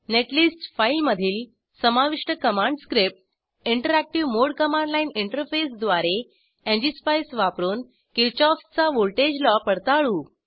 netlist फाईलमधील समाविष्ट command script interactive mode command line interface द्वारे एनजीएसपाईस वापरून किरशॉफ चा व्हॉल्टेज लॉ पडताळू